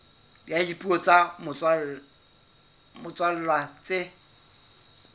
ya dipuo tsa motswalla tse